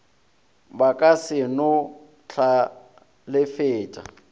ba ka se no hlalefetša